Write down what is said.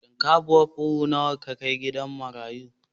Shinkafar buhu nawa ka kai gida marayu?